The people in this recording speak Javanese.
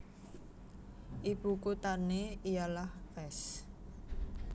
Ibu kuthané ialah Fès